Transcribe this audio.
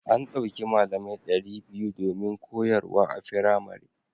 An ɗauki malamai ɗari biyu domin koyarwa a firamare.